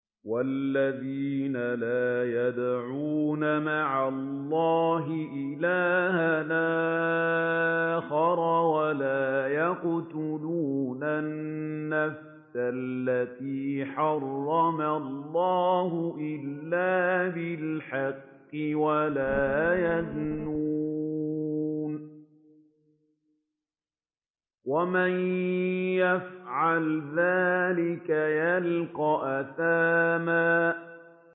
وَالَّذِينَ لَا يَدْعُونَ مَعَ اللَّهِ إِلَٰهًا آخَرَ وَلَا يَقْتُلُونَ النَّفْسَ الَّتِي حَرَّمَ اللَّهُ إِلَّا بِالْحَقِّ وَلَا يَزْنُونَ ۚ وَمَن يَفْعَلْ ذَٰلِكَ يَلْقَ أَثَامًا